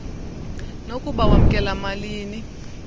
nokuba wamkela malini